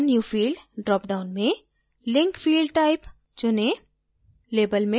add a new field dropdown में link field type चुनें